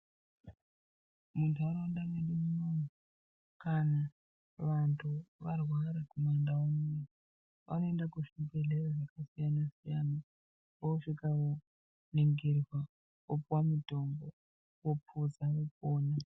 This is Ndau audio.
Munharaunda medu muno kana vantu varwara kumandau uno vanoenda kuzvibhehleya zvakasiyanasiyana vosvika voningirwa vopiwa mitombo vopodza vopona.